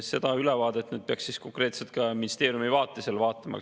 Seda ülevaadet nüüd peaks konkreetselt ministeeriumide vaates vaatama.